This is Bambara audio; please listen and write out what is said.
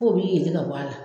K'o b'i yelen ka bɔ a la.